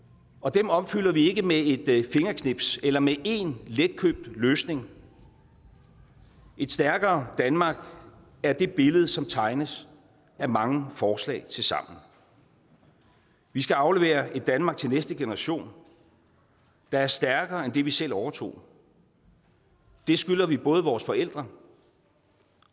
dem opfylder vi ikke med et fingerknips eller med én letkøbt løsning et stærkere danmark er det billede som tegnes af mange forslag tilsammen vi skal aflevere et danmark til næste generation der er stærkere end det vi selv overtog det skylder vi både vores forældre